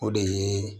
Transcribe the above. O de ye